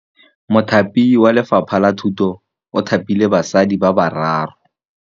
Mothapi wa Lefapha la Thutô o thapile basadi ba ba raro.